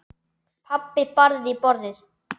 Pabbi barði í borðið.